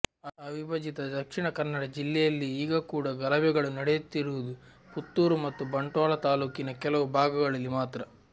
ಅವಿಭಜಿತ ದಕ್ಷಿಣ ಕನ್ನಡ ಜಿಲ್ಲೆಯಲ್ಲಿ ಈಗ ಕೂಡ ಗಲಭೆಗಳು ನಡೆಯುತ್ತಿರುವುದು ಪುತ್ತೂರು ಮತ್ತು ಬಂಟ್ವಾಳ ತಾಲೂಕಿನ ಕೆಲವು ಭಾಗಗಳಲ್ಲಿ ಮಾತ್ರ